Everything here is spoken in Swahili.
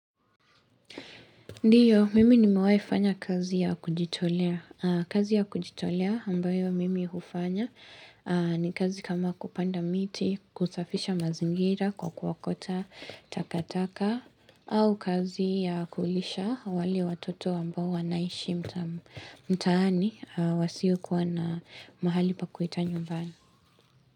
Ndiyo, mimi nimewai fanya kazi ya kujitolea aaaa. Kazi ya kujitolea ambayo mimi hufanya aaaa ni kazi kama kupanda miti, kusafisha mazingira kwa kuokota takataka aa au kazi ya kulisha wale watoto ambao wanaishi mtam mtaani wasiokuwa na mahali pakuita nyumbani.